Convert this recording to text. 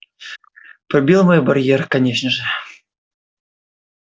пробил мой барьер конечно же